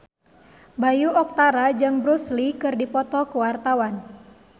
Bayu Octara jeung Bruce Lee keur dipoto ku wartawan